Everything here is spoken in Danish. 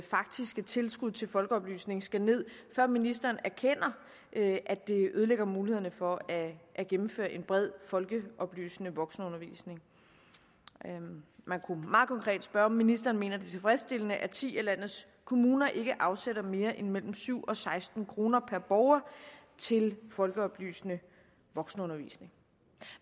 faktiske tilskud til folkeoplysning skal ned før ministeren erkender at det ødelægger mulighederne for at gennemføre en bred folkeoplysende voksenundervisning man kunne meget konkret spørge om ministeren mener det er tilfredsstillende at ti af landets kommuner ikke afsætter mere end mellem syv og seksten kroner per borger til folkeoplysende voksenundervisning